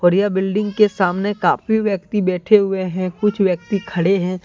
और ये बिल्डिंग के सामने काफी व्यक्ति बैठे हुए हैं कुछ व्यक्ति खड़े हैं।